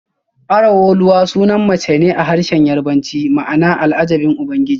Araoluwa sunan mace ne a harshen Yarbanci ma'ana Al'ajabin Ubangiji